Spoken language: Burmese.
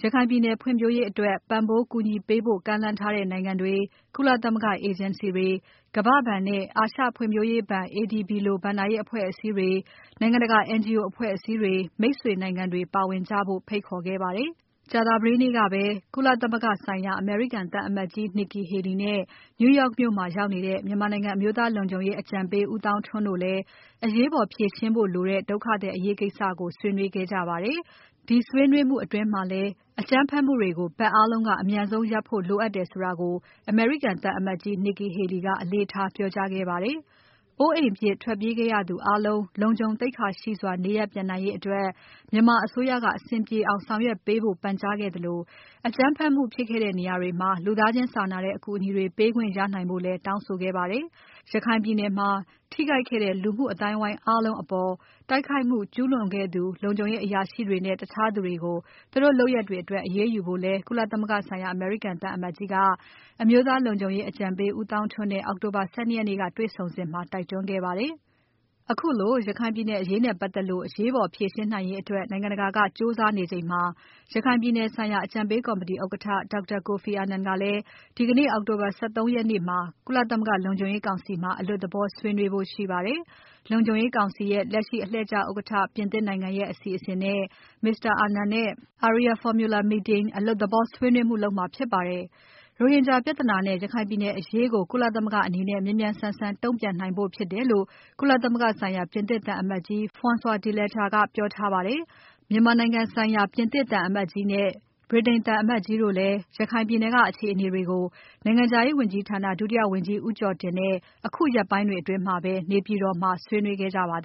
ရခိုင်ပြည်နယ်ဖွံ့ဖြိုးရေးအတွက် ပံ့ပိုးကူညီပေးဖို့ကမ်းလှမ်းထားတဲ့ နိုင်ငံတွေ၊ ကုလသမဂ္ဂအေဂျင်စီတွေ၊ ကမ္ဘာ့ဘဏ်နဲ့ အာရှဖွံ့ဖြိုးရေးဘဏ် ADB လို ဘဏ္ဍာရေးအဖွဲ့အစည်းတွေ၊ နိုင်ငံတကာ NGO အဖွဲအစည်းတွေ မိတ်ဆွေနိုင်ငံတွေပါဝင်ကြဖို့ ဖိတ်ခေါ်ခဲ့ပါတယ်။ ကြာသပတေးနေ့ကပဲ ကုလသမဂ္ဂဆိုင်ရာ အမေရိကန်သံအမတ်ကြီး Nikki Haley နဲ့ New York မြို့မှာရောက်နေတဲ့ မြန်မာနိုင်ငံ အမျိုးသားလုံခြုံရေးအကြံပေး ဦးသောင်းထွန်းတို့လည်း အရေးပေါ် ဖြေရှင်းဖို့လိုတဲ့ ဒုက္ခသည်အရေးကိစ္စကို ဆွေးနွေးခဲ့ကြပါတယ်။ ဒီဆွေးနွေးမှုအတွင်းမှာလည်း အကြမ်းဖက်မှုတွေကို ဘက်အားလုံးက အမြန်ဆုံးရပ်ဖို့ လိုအပ်တယ်ဆိုတာကို အမေရိကန်သံအမတ်ကြီး Nikki Haley က အလေးထားပြောကြားခဲ့ပါတယ်။ အိုးအိမ်ပြစ် ထွက်ပြေးခဲ့ရသူအားလုံး လုံခြုံ သိက္ခာရှိစွာ နေရပ်ပြန်နိုင်ရေးအတွက် မြန်မာအစိုးရက အဆင်ပြေအောင်ဆောင်ရွက်ပေးဖို့ပန်ကြားခဲ့သလို အကြမ်းဖက်မှုုဖြစ်ခဲ့တဲ့ နေရာတွေမှာ လူသားချင်းစာနာတဲ့အကူအညီတွေ ပေးနိုင်ခွင့်ရဖို့လည်း တောင်းဆိုခဲ့ပါတယ်။ ရခိုင်ပြည်နယ်မှာ ထိခိုက်ခဲ့တဲ့ လူမှုအသိုင်းအဝိုင်းအားလုံးအပေါ် တိုက်ခိုက် ကျူးလွန်သူခဲ့သူ လုံခြုံရေးအရာရှိတွေနဲ့ တခြားသူတွေကို သူတို့လုပ်ရပ်တွေအတွက် အရေးယူဖို့လည်း ကုလသမဂ္ဂဆိုင်ရာ အမေရိကန်သံအမတ်ကြီးက အမျိုးသား လုံခြုံရေးအကြံပေး ဦးသောင်းထွန်းနဲ့ အောက်တိုဘာ ၁၂ ရက်နေ့က တေ့ွဆုံစဉ်မှာ တိုက်တွန်းခဲ့ပါတယ်။ ခုလို ရခိုင်အရေးနဲ့ပတ်သက်လို့ အရေးပေါ်ဖြေရှင်းနိုင်ရေးအတွက် နိုင်ငံတကာက ကြိုးစားနေချိန်မှာ ရခိုင်ပြည်နယ်ဆိုင်ရာ အကြံပေးကော်မတီ ဥက္ကဋ္ဌ Dr. Kofi Annan ကလည်း ဒီကနေ့ အောက်တိုဘာ ၁၃ ရက်နေ့မှာ ကုလသမဂ္ဂလုံခြုံရေးကောင်စီမှာ အလွတ်သဘောဆွေးနွေးဖို့ရှိပါတယ်။ လုံခြုံရေးကောင်စီရဲ့ လက်ရှိအလှည့်ကျဥက္ကဋ္ဌ ပြင်သစ်နိုင်ငံရဲ့ အစီအစဉ်နဲ့ Mr. Annan နဲ့ Arria-formula meeting အလွတ်သဘော ဆွေးနွေးမှုလုပ်မှာဖြစ်ပါတယ်။ ရိုဟင်ဂျာပြဿနာနဲ့ ရခိုင်ပြည်နယ်အရေးကို ကုလသမဂ္ဂအနေနဲ့ မြန်မြန်ဆန်ဆန် တုံ့ပြန်နိုင်ဖို့ဖြစ်တယ်လို့ ကုလသမဂ္ဂဆိုင်ရာ ပြင်သစ်သံအမတ်ကြီး Francois Delattre ကပြောထားပါတယ်။ မြန်မာနိုင်ငံဆိုင်ရာ ပြင်သစ်သံအမတ်ကြီးနဲ့ ဗြိတိန်သံအမတ်ကြီးတို့လည်း ရခိုင်ပြည်နယ်က အခြေအနေတွေကို နိုင်ငံခြားရေးဝန်ကြီးဌာန ဒုတိယဝန်ကြီးဦးကျော်တင်နဲ့ အခုရက်ပိုင်းအတွင်းမှာပဲ နေပြည်တော်မှာ ဆွေးနွေးခဲ့ကြပါတယ